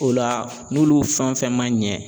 O la n'olu fɛn fɛn man ɲɛ